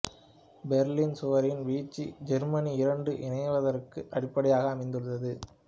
Berlin சுவரின் வீழ்ச்சி Germany இரண்டும் இணைவதற்கு அடிப்படையாக அமைந்தது